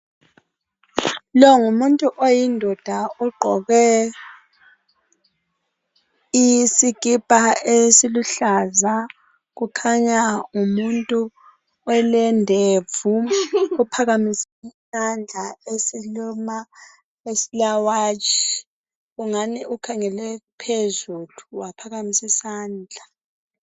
Lo ngumuntu oyindoda ogqoke isikipa esiluhlaza. Kukhanya ngumuntu olendevu ophakamisi sandla esile watch. Ungani ukhangele phezulu waphakamisi sandla.